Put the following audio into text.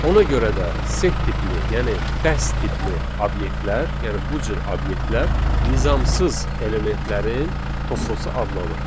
Ona görə də set tipli, yəni dəst tipli obyektlər, yəni bu cür obyektlər nizamsız elementlərin toplusu adlanır.